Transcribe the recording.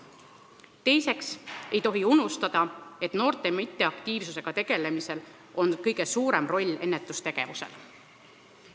Teiseks ei tohi unustada, et noorte mitteaktiivsusega tegelemisel on kõige suurem roll ennetustegevusel.